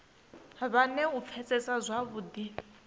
vhe na u pfesesa zwavhudi